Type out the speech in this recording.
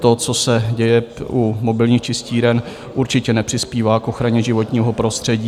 To, co se děje u mobilních čistíren, určitě nepřispívá k ochraně životního prostředí.